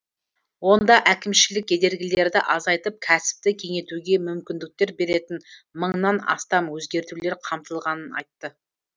онда әкімшілік кедергілерді азайтып кәсіпті кеңейтуге мүмкіндіктер беретін мыңнан астам өзгертулер қамтылғанын айтты